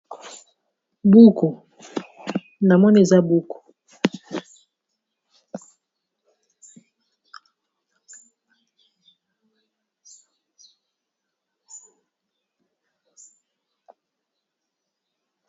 Buku na moni eza buku.